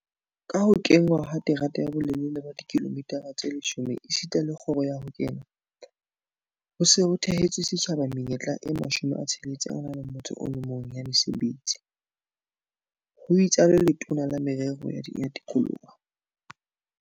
Ka ho kenngwa ha terata ya bolelele ba dikilomitara tse 10 esita le kgoro ya ho kena, ho se ho theetswe setjhaba menyetla e 61 ya mesebetsi, ho itsalo Letona la Merero ya Tikoloho